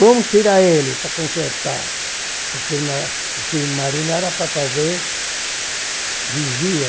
Vamos tirar ele para consertar, porque o na o submarino era para fazer vigia.